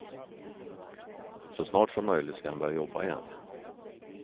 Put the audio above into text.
Så snart som möjligt ska han börja jobba igen.